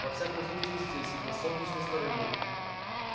во всяком случае здесь на солнечной стороне